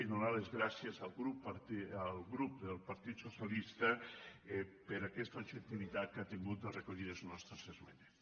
i donar les gràcies al grup del partit socialista per aquesta objectivitat que ha tingut al recollir les nostres es·menes